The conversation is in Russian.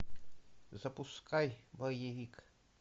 запускай боевик